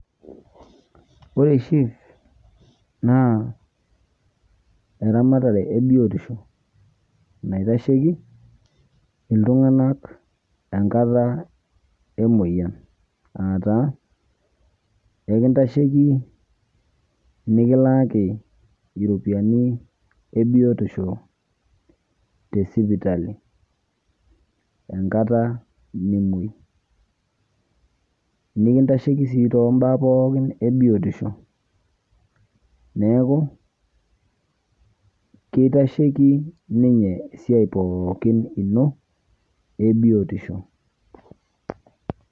Ore shif naa eramatare ebiotisho naitashieki ltunganak enkata emoyian, aataa enkintashieki nikilakii ropiyani enkata ebiotisho tesipitali, enkata nimoi nikintashieki sii toombaa pookin ebiotisho neaku kitashieyieki ninye eaiai pookin ino ebiotisho.